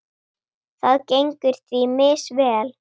Það gengur því misvel.